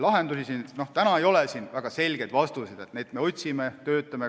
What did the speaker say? Täna ei ole väga selgeid vastuseid, neid me otsime, töötame selle kallal.